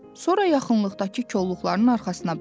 Sonra yaxınlıqdakı kolluqların arxasına baxdı.